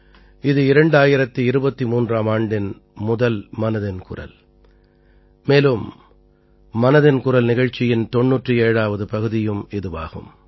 இது 2023ஆம் ஆண்டின் முதல் மனதின் குரல் மேலும் மனதின் குரல் நிகழ்ச்சியின் 97ஆவது பகுதியும் இதுவாகும்